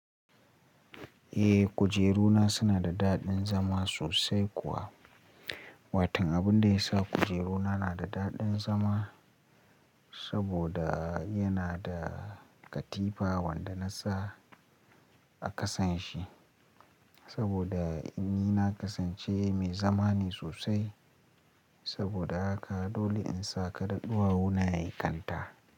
Eh kujeru na suna da daɗin zama sosai kuwa. Watan abin da ya sa kujeru na na da daɗin zama saboda yana da katifa wanda na sa a kasan shi. Saboda ni na kasance mai zamane sosai saboda haka dole in sa kaɗa ɗuwa wuna ya yi kanta.